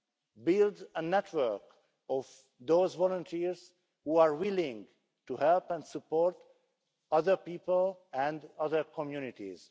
to build a network of volunteers who are willing to help and support other people and other communities.